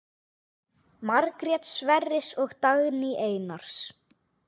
Margrét Sverris og Dagný Einars.